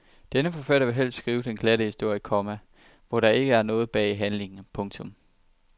Denne forfatter vil helst skrive den glatte historie, komma hvor der ikke er noget bag handlingen. punktum